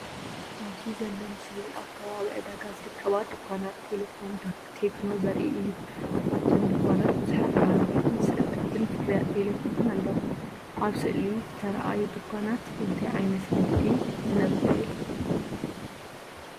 ኣብዚ ዘሎ ምስሊ ኣብ ከባቢ ዕዳጋ ዝርከባ ድኳናት ቴሌፎን ቴክኖ ዘርኢ እዩ። ኣብተን ድኳናት ብዙሓት ባነራትን ስእልታት ፍርያት ቴሌፎንን ኣለዉ። ኣብ ስእሊ ዝተርኣዩ ድኳናት እንታይ ዓይነት ንግዲ ዝነግዱ እዮም?